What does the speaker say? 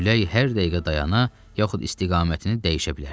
Külək hər dəqiqə dayana, yaxud istiqamətini dəyişə bilərdi.